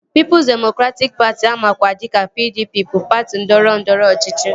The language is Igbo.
Pịịpụs demokratịk Patị amakwa dịka PDP bụ patị ndọrọndọrọ ọchịchị